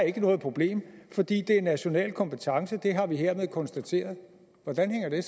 ikke er noget problem fordi det er national kompetence og det har vi hermed konstateret hvordan hænger det